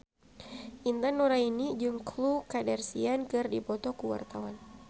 Intan Nuraini jeung Khloe Kardashian keur dipoto ku wartawan